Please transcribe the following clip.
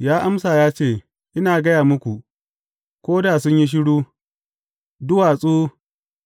Ya amsa ya ce, Ina gaya muku, ko da sun yi shiru, duwatsu